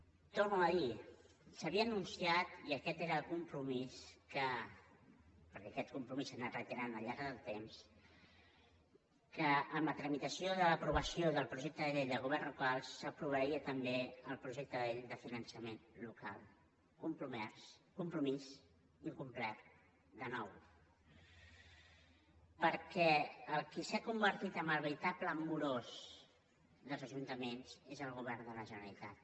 ho torno a dir s’havia anunciat i aquest era el compromís perquè aquest compromís s’ha anat reiterant al llarg del temps que en la tramitació de l’aprovació del projecte de llei de governs locals s’aprovaria també el projecte de llei de finançament local compromís incomplert de nou perquè el qui s’ha convertit en el veritable morós dels ajuntaments és el govern de la generalitat